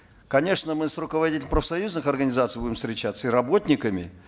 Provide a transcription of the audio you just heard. конечно мы с руководителями профсоюзных организаций будем встречаться и работниками